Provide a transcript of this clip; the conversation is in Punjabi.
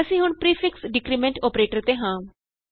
ਅਸੀਂ ਹੁਣ ਪਰੀਫਿਕਸ ਡਿਕਰੀਮੈਂਟ ਅੋਪਰੇਟਰ ਤੇ ਹਾਂ